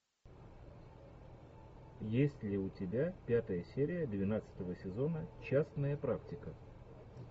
есть ли у тебя пятая серия двенадцатого сезона частная практика